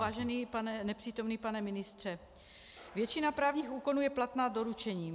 Vážený nepřítomný pane ministře, většina právních úkonů je platná doručením.